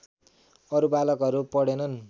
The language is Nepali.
अरू बालकहरू पढेनन्